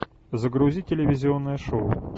загрузи телевизионное шоу